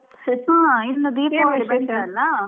ಹಾ ಇನ್ನು ದೀಪಾವಳಿ ಬಂತಲ್ಲಾ.